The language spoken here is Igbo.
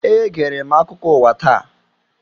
Egere m akụkọ ụwa taa.